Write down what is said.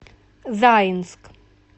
заинск